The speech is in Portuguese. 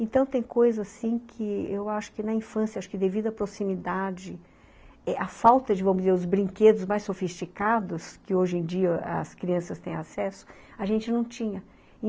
Então, tem coisa assim que eu acho que na infância, devido à proximidade, eh, a falta de, vamos dizer, os brinquedos mais sofisticados, que hoje em dia as crianças têm acesso, a gente não tinha.